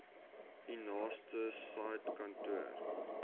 u naaste saidkantoor